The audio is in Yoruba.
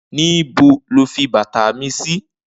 Nibó ló fi bàtá mi si?